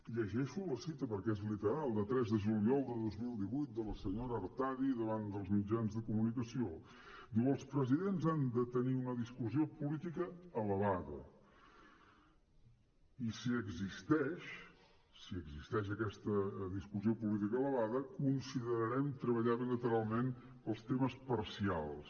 llegeixo la cita perquè és literal de tres de juliol de dos mil divuit de la senyora artadi davant dels mitjans de comunicació diu els presidents han de tenir una discussió política elevada i si existeix si existeix aquesta discussió política elevada considerarem treballar bilateralment pels temes parcials